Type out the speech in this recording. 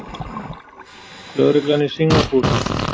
Lögreglan í Singapúr?